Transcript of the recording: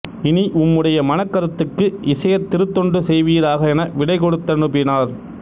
இனி உம்முடைய மனக்கருத்துக்கு இசையத் திருத்தொண்டு செய்வீராக என விடைகொடுத்தனுப்பினார்